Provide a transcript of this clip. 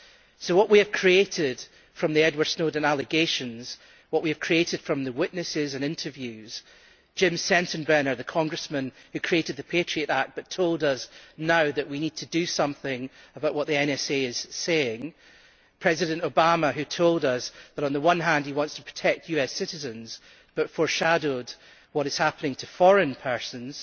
So what we have created from the Edward Snowden allegations, the witnesses and the interviews Jim Sensenbrenner the Congressman, who created the Patriot Act but told us now that we need to do something about what the NSA is saying, and President Obama, who told us that on the one hand he wants to protect US citizens but foreshadowed what is happening to foreign persons